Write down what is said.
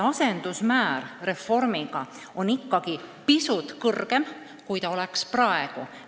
Asendusmäärad on ikkagi pisut kõrgemad kui praegused.